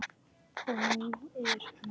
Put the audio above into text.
Og hún er norn.